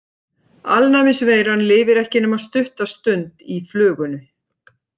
Alnæmisveiran lifir ekki nema stutta stund í flugunni.